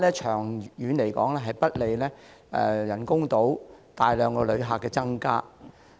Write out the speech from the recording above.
長遠來說，該做法不利口岸人工島增加大量旅客。